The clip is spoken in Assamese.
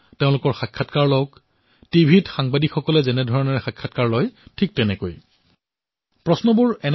আপোনালোকে টিভিত যে দেখা পায় কিদৰে এজনে সাংবাদিকে সাক্ষাৎকাৰ গ্ৰহণ কৰে ঠিক সেইদৰে সাক্ষাৎকাৰ লওক